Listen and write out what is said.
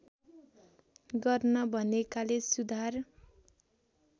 गर्न भनेकाले सुधार